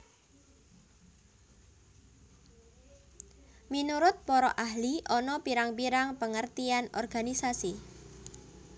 Minurut para ahli ana pirang pirang pengertian organisasi